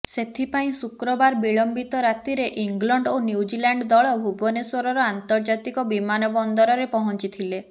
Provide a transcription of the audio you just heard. ସେଥିପାଇଁ ଶୁକ୍ରବାର ବିଳମ୍ବିତ ରାତିରେ ଇଂଲଣ୍ଡ ଓ ନ୍ୟୁଜିଲାଣ୍ଡ ଦଳ ଭୁବନେଶ୍ବରର ଆନ୍ତର୍ଜାତିକ ବିମାନବନ୍ଦରରେ ପହଞ୍ଚିଥିଲେ